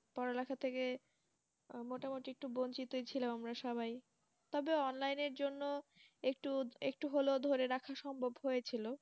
Corona টা থেকে মোটামুটি একটু ছিলাম আমরা সবাই। তবে online এর জন্য একটু~ একটু হলেও ধরে রাখা সম্ভব হয়েছিল।